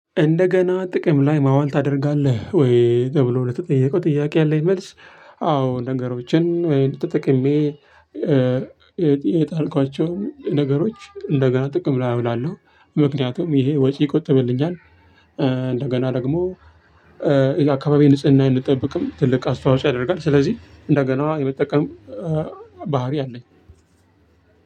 እንደገና ጥቅም ላይ ማዋል ታደርጋለህ ወይ ተብሎ ለተጠየቀው ጥያቄ ያለኝ መልስ? አዎ ነገሮችን ወይ ተጠቅሜ የጣልኳቸውን ነገሮች እንደገና ጥቅም ላይ አውላለሁ ምክንያቱም ይሄ ወጪ ይቆጥብልኛል። እንደገና ደግሞ የአካባቢ ንጽህና አይንጠብቅም ትልቅ አስተዋጽኦ ያደርጋል። ስለዚህ እንደገና የመጠቀም ባህሪ አለኝ።